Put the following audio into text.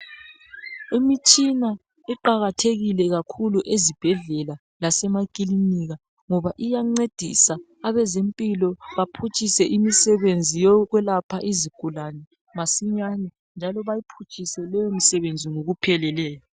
Imitshina iqakathekile kakhulu ezibhedlela lasemakilinika, ngoba iyancedisa abezempilo baphutshise imisebenzi yokwelapha izigulane masinyane, njalo bayiphutshise leyomisebenzi ngokupheleleyo.